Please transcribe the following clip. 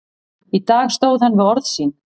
Í dag stóð hann við orð sín.